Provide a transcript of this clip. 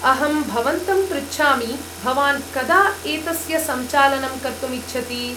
अहं भवन्तं पृच्छामि, भवान् कदा एतस्य संचालनं कर्तुम् इच्छति?